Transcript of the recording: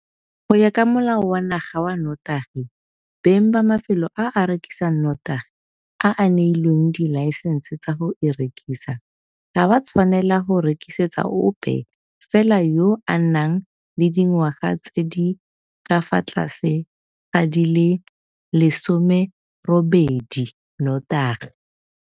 Go ya ka Molao wa Naga wa Notagi, beng ba mafelo a a rekisang notagi a a neilweng dilaesense tsa go e rekisa ga ba tshwanela go rekisetsa ope fela yo a nang le dingwaga tse di ka fa tlase ga di le 18 notagi.